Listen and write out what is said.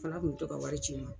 Filoran kun bi tɔ ka wari ci n ma.